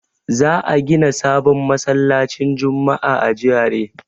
Za a gida sabon masallacin juma'a a GRA.